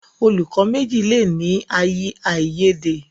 Olùkó méjì le ní aiyede.